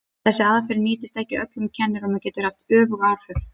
Þessi aðferð nýtist ekki öllum kennurum og getur haft öfug áhrif.